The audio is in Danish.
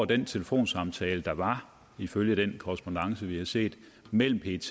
den telefonsamtale der var ifølge den korrespondance vi har set mellem pet